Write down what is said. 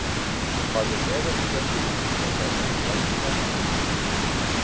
Farðu neðar í fréttina til að sjá þetta glæsilega mark.